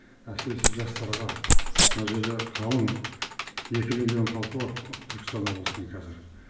әсіресе жастарға мына жерде қалың екі миллион халқы бар түркістан облысының қазір